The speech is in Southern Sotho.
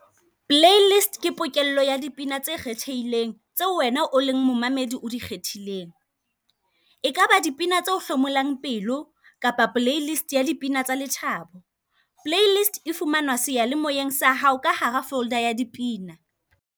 Playlist ke pokello ya dipina tse kgethehileng, tseo wena o leng momamedi o di kgethileng. Ekaba dipina tse o hlomolang pelo, kapa Playlist ya dipina tsa lethabo. Playlist e fumanwa seyalemoyeng sa hao ka hara folder ya dipina.